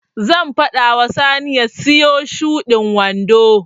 Zan faɗa wa Sani ya siyo shudin wando.